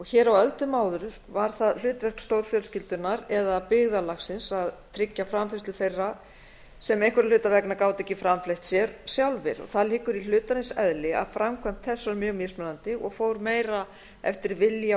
hér á öldum áður var það hlutverk stórfjölskyldunnar eða byggðarlagsins að tryggja framfærslu þeirra sem einhverra hluta vegna gátu ekki framfleytt sér sjálfir það liggur í hlutarins eðli að framkvæmd þess var mjög mismunandi og fór meira eftir vilja